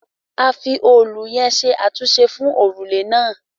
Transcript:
A fi òòlù yẹn ṣe àtúnṣe fún òrùlé náà